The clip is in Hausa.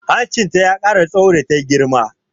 Hancinta ya ƙara tsaho da ta girma